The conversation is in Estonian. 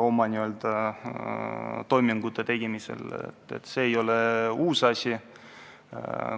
oma toimingute tegemisel, see ei ole midagi uut.